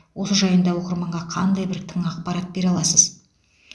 осы жайында оқырманға қандай бір тың ақпарат бере аласыз